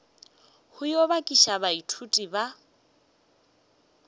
go yo bakiša baithuti ba